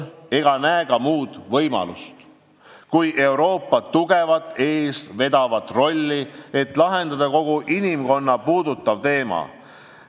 Ja ma ei näe ka muud võimalust kui Euroopa tugevat eestvedavat rolli, et lahendada see kogu inimkonda puudutav teema.